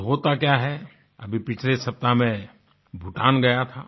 और होता क्या है अभी पिछले सप्ताह मैं भूटान गया था